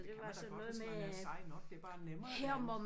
Det kan man da godt hvis man er sej nok det er bare nemmere det andet